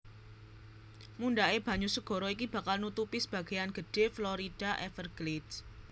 Mundhaké banyu segara iki bakal nutupi sebagéyan gedhé Florida Everglades